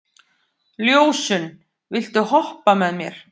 Ljósunn, viltu hoppa með mér?